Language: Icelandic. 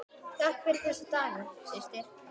Takk fyrir þessa daga, systir.